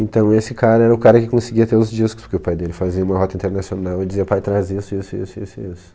Então, esse cara era o cara que conseguia ter os discos, porque o pai dele fazia uma rota internacional ele dizia, pai, traz isso, e isso, e isso, e isso, e isso.